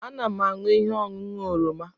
Ana m aṅụ ihe ọṅụṅụ oroma